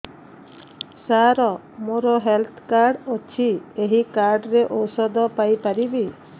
ସାର ମୋର health card ଅଛି ଏହି କାର୍ଡ ରେ ଔଷଧ ପାଇପାରିବି